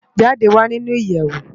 Jide wá ninú iyèwó